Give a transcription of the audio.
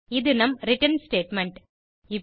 இது நம் return statement